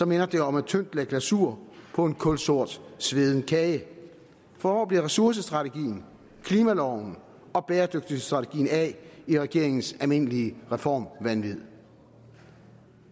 minder det om et tyndt lag glasur på en kulsort sveden kage for hvor bliver ressourcestrategien klimaloven og bæredygtighedsstrategien af i regeringens almindelige reformvanvid